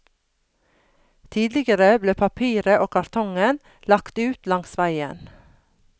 Tidligere ble papiret og kartongen lagt ut langs veien.